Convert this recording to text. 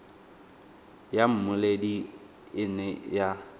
ya mmoledi e ne ya